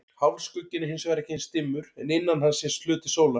Hálfskugginn er hins vegar ekki eins dimmur en innan hans sést hluti sólar.